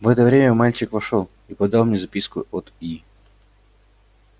в это время мальчик вошёл и подал мне записку от и